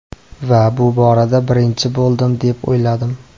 Va bu borada birinchi bo‘ldim deb o‘yladim.